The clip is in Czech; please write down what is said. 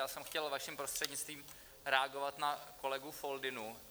Já jsem chtěl vaším prostřednictvím reagovat na kolegu Foldynu.